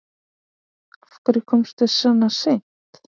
Af hverju komstu svona seint?